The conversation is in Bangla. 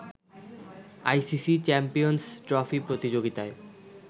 আইসিসি চ্যাম্পিয়ন্স ট্রফি প্রতিযোগিতায়